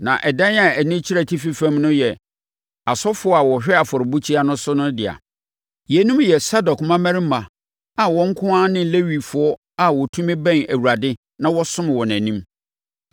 Na ɛdan a ani kyerɛ atifi fam no yɛ asɔfoɔ a wɔhwɛ afɔrebukyia no so no dea. Yeinom yɛ Sadok mmammarima a wɔn nko ara ne Lewifoɔ a wɔtumi bɛn Awurade na wɔsom wɔ nʼanim.”